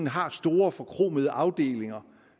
har store forkromede afdelinger